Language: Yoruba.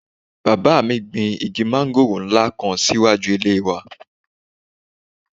Bàbá mi gbin igi mángòrò nla kan si iwaju ile wà.